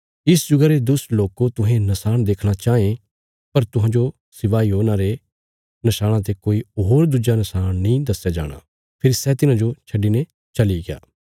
इस जुगा रे दुष्ट लोको तुहें नशाण देखणा चाँये पर तुहांजो सिवाय योना रे नशाणा ते कोई होर दुज्जा नशाण नीं दस्या जाणा फेरी सै तिन्हांजो छड्डिने चलिग्या